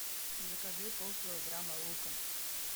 закажи полкилограмма лука